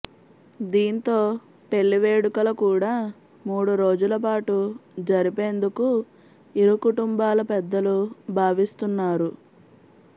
దీంతో పెళ్లి వేడుకల కూడా మూడు రోజుల పాటు జరిపేందుకు ఇరు కుటుంబాల పెద్దలు భావిస్తున్నారు